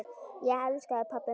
Ég elska þig, pabbi minn.